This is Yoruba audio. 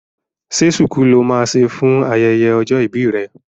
Ṣé ṣuku lo máa ṣe fún ayẹyẹ ọjọ́ ìbí rẹ?